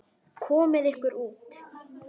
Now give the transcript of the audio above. Komiði ykkur út.